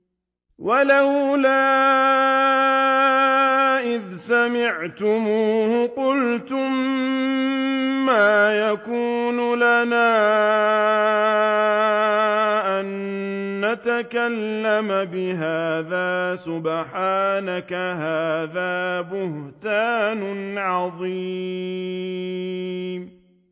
وَلَوْلَا إِذْ سَمِعْتُمُوهُ قُلْتُم مَّا يَكُونُ لَنَا أَن نَّتَكَلَّمَ بِهَٰذَا سُبْحَانَكَ هَٰذَا بُهْتَانٌ عَظِيمٌ